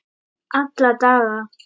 Alla daga.